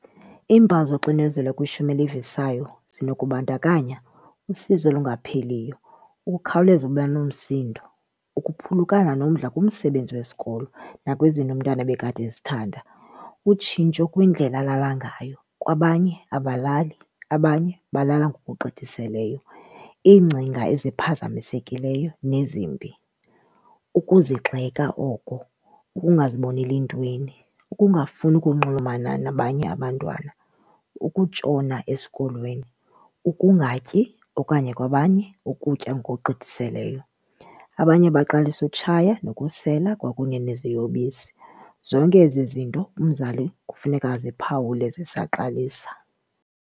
Iimpawu zoxinezelo kwishumi elivisayo zinokubandakanya usizi olungapheliyo, ukukhawuleza uba nomsindo, ukuphulukana nomdla kumsebenzi wesikolo nakwizinto umntana ebekade ezithanda. Utshintsho kwindlela alala ngayo, kwabanye abalali abanye balala ngokugqithiseleyo. Iingcinga eziphazamisekileyo nezimbi, ukuzigxeka oko, ukungaziboneli ntweni, ukungafuni ukunxulumana nabanye abantwana, ukutshona esikolweni, ukungatyi okanye kwabanye ukutya ngokugqithiseleyo. Abanye baqalisa utshaya nokusela kwakunye neziyobisi. Zonke ezi zinto umzali kufuneka aziphawule zisaqalisa.